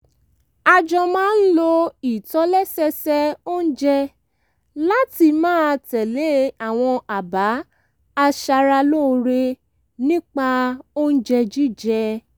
a jọ máa ń lo ìtòlẹ́sẹẹsẹ oúnjẹ láti máa tẹ̀lé àwọn àbá aṣaralóore nípa oúnjẹ jíjẹ